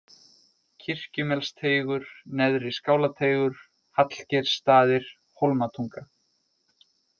Kirkjumelsteigur, Neðri-Skálateigur, Hallgeirsstaðir, Hólmatunga